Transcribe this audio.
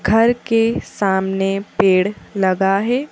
घर के सामने पेड़ लगा है।